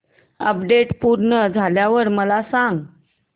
update पूर्ण झाल्यावर मला सांग